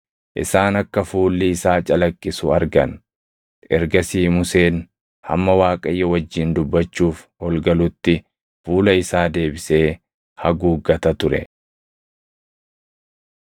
isaan akka fuulli isaa calaqqisu argan. Ergasii Museen hamma Waaqayyo wajjin dubbachuuf ol galutti fuula isaa deebisee haguuggata ture.